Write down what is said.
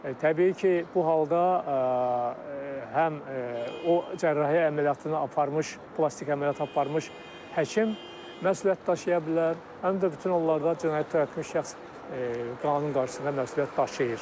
təbii ki, bu halda həm o cərrahi əməliyyatını aparmış, plastik əməliyyat aparmış həkim məsuliyyət daşıya bilər, həm də bütün onlarda cinayət törətmiş şəxs qanun qarşısında məsuliyyət daşıyır.